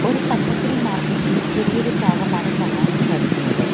ഒരു പച്ചക്കറി മാർക്കറ്റ് ഇന്റെ ചെറിയൊരു ഫാഗമാണ് കാണാൻ സാധിക്കുന്നത്.